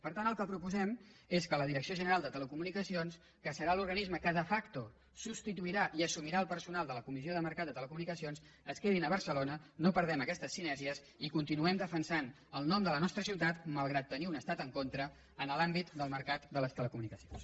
per tant el que proposem és que la direcció general de telecomunicacions que serà l’organisme que de factode la comissió del mercat de les telecomunicacions es quedi a barcelona no perdem aquestes sinergies i continuem defensant el nom de la nostra ciutat malgrat tenir un estat en contra en l’àmbit del mercat de les telecomunicacions